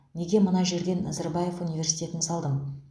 неге мына жерде назарбаев университетін салдым